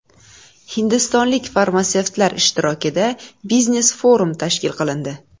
Hindistonlik farmatsevtlar ishtirokida biznes-forum tashkil qilindi.